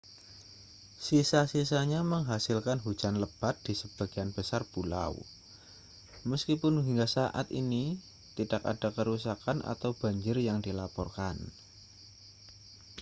sisa-sisanya menghasilkan hujan lebat di sebagian besar pulau meskipun hingga saat ini tidak ada kerusakan atau banjir yang dilaporkan